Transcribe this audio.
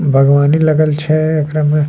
बगवानी लगल छै एकरा में।